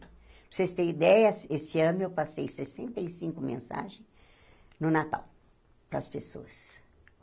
Para vocês terem ideia, eh esse ano eu passei sessenta e cinco mensagens no Natal para as pessoas.